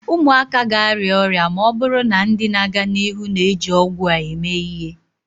ụmụaka ga-arịa ọrịa ma ọ bụrụ na ndị na-aga n'ihu na-eji ọgwụ a eme ihe